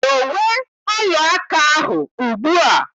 Dowe ọla aka ahụ ugbu a!